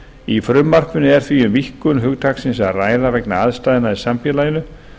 í frumvarpinu er því um víkkun hugtaksins að ræða vegna aðstæðna í samfélaginu